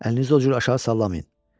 Əlinizi o cür aşağı sallamayın.